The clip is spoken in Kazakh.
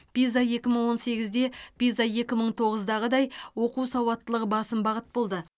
пиза екі мың он сегізде пиза екі мың тоғыздағыдай оқу сауаттылығы басым бағыт болды